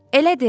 Elədim.